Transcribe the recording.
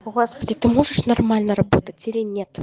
господи ты можешь нормально работать или нет